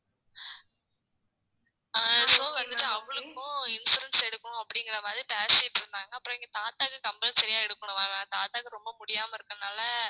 அஹ் இப்போ வந்துட்டு அவளுக்கும் insurance எடுக்கணும் அப்படிங்கிற மாதிரி பேசிட்டு இருந்தாங்க அப்புறம் எங்க தாத்தாக்கு compulsory யா எடுக்கணும் தாத்தாக்கு ரொம்ப முடியாம இருக்கறதுனால